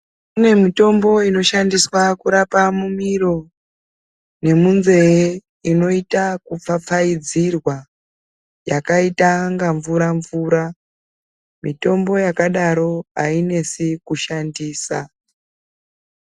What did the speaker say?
Kune mitombo inotarisirwa kunge yeirapa mumiro nemunzee inoita ekupfapfaidzirwa yakaita unga mvura mvura mitombo yakadaro ainesi kushandisa.